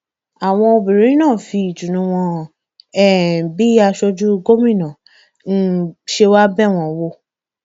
àwọn obìnrin náà fi ìdùnnú wọn hàn um sí bí aṣojú gómìnà um ṣé wàá bẹ wọn wò